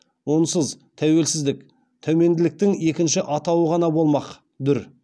онсыз тәуелсіздік тәуменділіктің екінші атауы ғана болмақ дүр